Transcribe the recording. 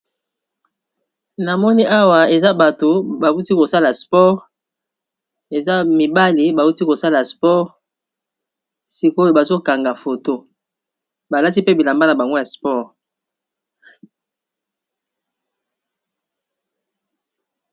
Awa na moni awa eza bato bauti kosala sport eza mibali bauti kosala sport sikoyo bazokanga foto balati pe bilamba na bango ya sport